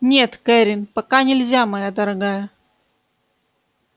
нет кэррин пока нельзя моя дорогая